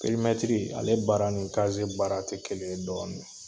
Perimɛtiri, ale baara ni baara te kelen ye dɔɔni.